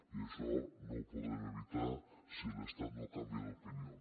i això no ho podrem evitar si l’estat no canvia d’opinió